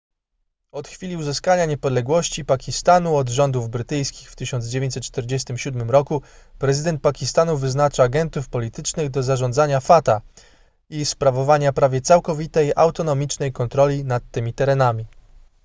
od chwili uzyskania niepodległości pakistanu od rządów brytyjskich w 1947 roku prezydent pakistanu wyznacza agentów politycznych do zarządzania fata i sprawowania prawie całkowitej autonomicznej kontroli nad tymi terenami